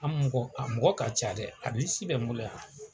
An mɔgɔ a mɔgɔ ka ca dɛ a bɛ n bolo yan.